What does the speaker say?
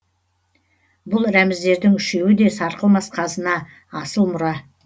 бұл рәміздердің үшеуі де сарқылмас қазына асыл мұра